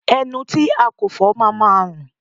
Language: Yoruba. Ẹnu tí a kò fọ máa ma rùn.